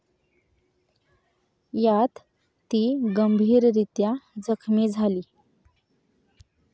यात ती गंभीररीत्या जखमी झाली.